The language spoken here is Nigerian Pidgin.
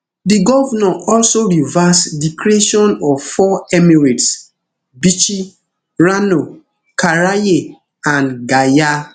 di govnor also reverse di creation of four emirates bichi rano karaye and gaya